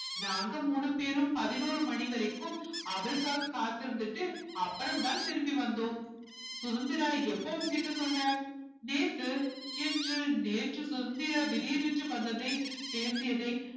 நாங்க மூணு பேரும் பதினோரு மணி வரைக்கும் அவருக்காக காத்து இருந்துட்டு அப்புறம்தான் திரும்பி வந்தோம் சுதந்திரா எப்ப உன்கிட்ட சொன்னார் நேத்து இன்று நேற்று சுதந்திரா திடீரென்று வந்ததை பேசியதை